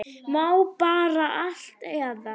Má bara allt eða?